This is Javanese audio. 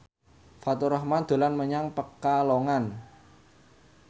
Faturrahman dolan menyang Pekalongan